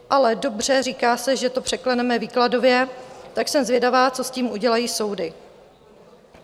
Ale dobře, říká se, že to překleneme výkladově, tak jsem zvědavá, co s tím udělají soudy.